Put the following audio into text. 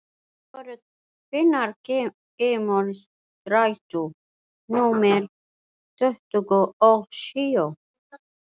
Vogur, hvenær kemur strætó númer tuttugu og sjö?